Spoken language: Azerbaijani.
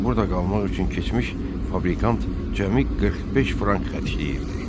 Burada qalmaq üçün keçmiş fabrikant cəmi 45 frank xərcləyirdi.